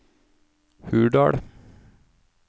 Hurdal